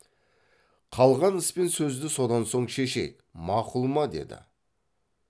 қалған іс пен сөзді содан соң шешейік мақұл ма деді